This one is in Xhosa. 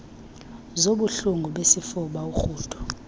zobuhlungu besifuba urhudo